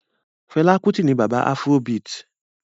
Fela Kuti ni bàbá afrobeat